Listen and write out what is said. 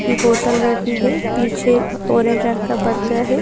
की बोतल रखी है पीछे ऑरेंज रंग का पर्दा है।